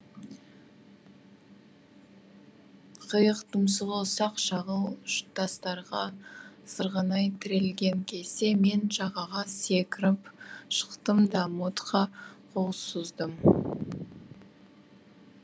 қайық тұмсығы ұсақ шағыл тастарға сырғанай тірелген кезде мен жағаға секіріп шықтым да модқа қол создым